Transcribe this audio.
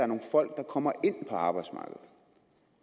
nogle folk der kommer ind på arbejdsmarkedet